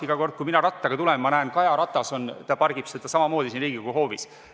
Iga kord, kui ma rattaga tulen, ma näen, et Kaja pargib ratast samamoodi siin Riigikogu hoovis.